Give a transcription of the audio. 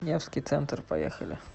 невский центр поехали